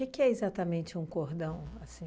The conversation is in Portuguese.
que é exatamente um cordão, assim?